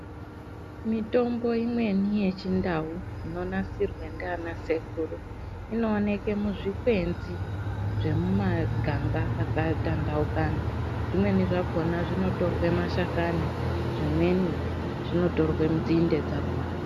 Mitombo imweni ye chindau ino nasirwa ndiana sekuru ino oneke muzvi kwenzi zvemu maganga aka tandaukana zvimweni zvakona zvino torwe mashakani zvimweni zvinotorwa nzinde dzakona.